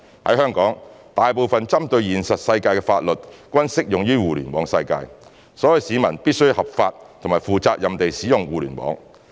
在香港，大部分針對現實世界的法律，均適用於互聯網世界，所以市民必須合法及負責任地使用互聯網。